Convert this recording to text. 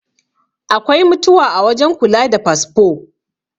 Akwai mutuwa a wajen kula da fasfo